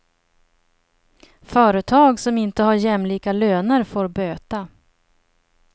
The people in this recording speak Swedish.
Företag som inte har jämlika löner får böta.